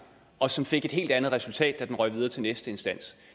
og som fik et helt andet resultat da den røg videre til næste instans